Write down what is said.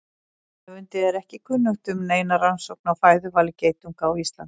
Höfundi er ekki kunnugt um neina rannsókn á fæðuvali geitunga á Íslandi.